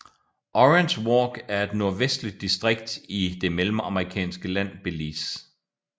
Orange Walk er et nordvestligt distrikt i det mellemamerikanske land Belize